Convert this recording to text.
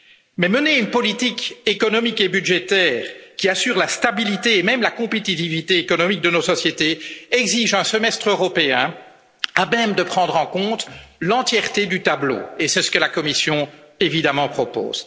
Mais mener une politique économique et budgétaire qui assure la stabilité et même la compétitivité économique de nos sociétés exige un semestre européen à même de prendre en compte l'entièreté du tableau, et c'est ce que la Commission évidemment propose.